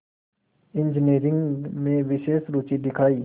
engineering में विशेष रुचि दिखाई